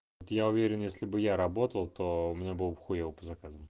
вот я уверен если бы я работал то у меня было бы хуёво по заказам